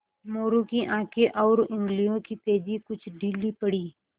मोरू की आँखें और उंगलियों की तेज़ी कुछ ढीली पड़ी